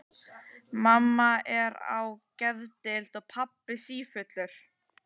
Mamma er á geðdeild og pabbi sífullur.